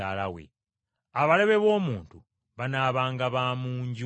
Abalabe b’omuntu banaabanga ba mu nju ye.’